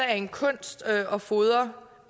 af en kunst at fodre